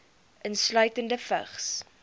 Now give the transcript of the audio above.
insluitende vigs